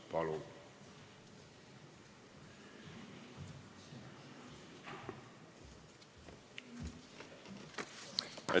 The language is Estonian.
Palun!